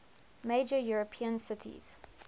major european cities